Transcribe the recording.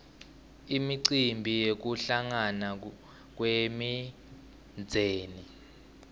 imicimbi yekuhlangana kwemindzeni